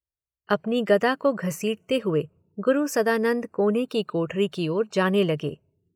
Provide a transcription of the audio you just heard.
अपनी गदा को घसीटते हुए गुरु सदानंद कोने की कोठरी की ओर जाने लगे।